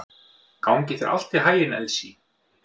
Gangi þér allt í haginn, Elsý.